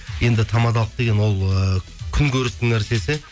енді тамадалық деген ол ыыы күн көрістің нәрсесі